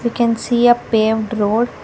we can see a paved road.